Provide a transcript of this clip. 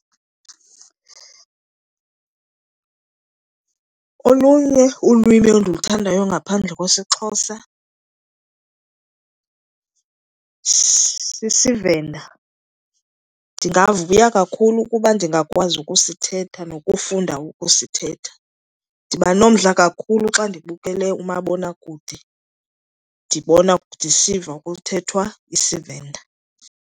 Olunye ulwimi endiluthandayo ngaphandle kwesiXhosa siseVenda. Ndingavuya kakhulu ukuba ndingakwazi ukusithetha nokufunda ukusithetha. Ndiba nomdla kakhulu xa ndibukele umabonakude ndibona ndisiva kuthethwa isiVenda.